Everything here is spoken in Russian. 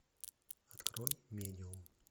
открой медиум